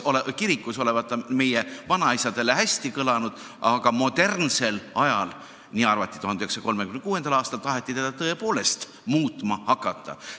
Kirikus olevat ta meie vanaisade meelest hästi kõlanud, aga modernsel ajal – nii arvati 1936. aastal – taheti teda tõepoolest muutma hakata.